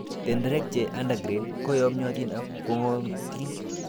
Tenderek che under grade ko yomyotin ak kong'iotin.